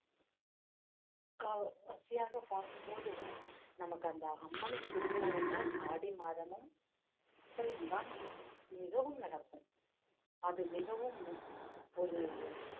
கவ்~ வசதியாக பார்க்கும் போது நமக்கு அந்த அம்மனின் திருவிழா என்றால் ஆடி மாதமும் சித்திரையும் தான் மிகவும் நடக்கும் அது மிகவும் ஒரு